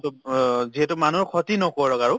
to অব অ যিহেতু মানুহৰ ক্ষতি নকৰক আৰু